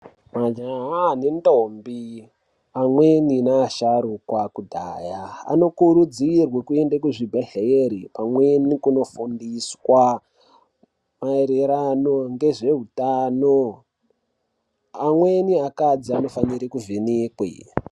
Majaha nendombi amweni neasharuka ekudhaya anokurudzirwa kuende kuzvibhedhlera amweni nekoofundiswa maererano nezveutano. Amweni akadzi anofanire kuvhenekwa.